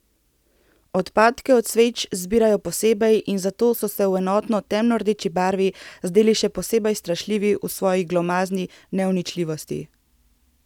Odpadke od sveč zbirajo posebej in zato so se v enotni temno rdeči barvi zdeli še posebej strašljivi v svoji glomazni neuničljivosti.